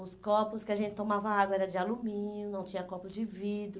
Os copos que a gente tomava água eram de alumínio, não tinha copos de vidro.